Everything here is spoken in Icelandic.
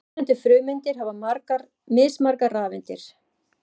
Mismunandi frumeindir hafa mismargar rafeindir.